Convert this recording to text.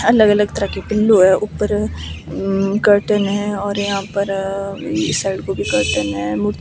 अलग-अलग तरह के पिलो हैं ऊपर कर्टेन हैं और यहां पर इस साइड को भी कर्टेन हैं।